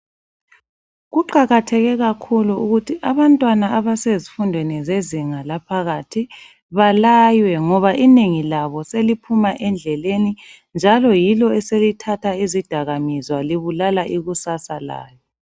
Kuqakatheke kakhulu ukuthi abantwana abasezifundweni zezinga laphakathi balaywe ngoba inengi labo seliphuma endleleni njalo yilo esilithatha izidakamizwa libulala ikusasa layo.